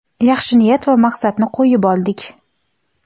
yaxshi niyat va maqsadni qo‘yib oldik.